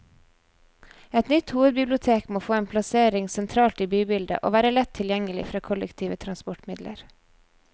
Et nytt hovedbibliotek må få en plassering sentralt i bybildet, og være lett tilgjengelig fra kollektive transportmidler.